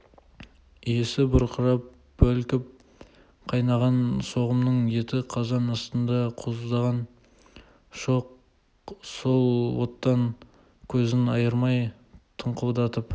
иісі бұркырап бүлкіп қайнаған соғымның еті қазан астында қоздаған шоқ сол оттан көзін айырмай тыңқылдатып